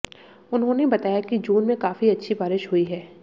उन्होंने बताया कि जून में काफी अच्छी बारिश हुई है